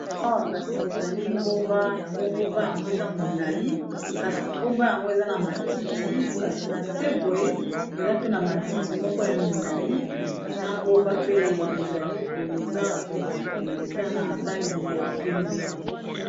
Awa kasi ezali ngomba yango ngomba yango eza molai kasi ngomba yango eza na matiti kasi na seboye eza pe na matiti moko ya milai na ngomba pe ezali boye eza neti boye eza na langi ya pembe.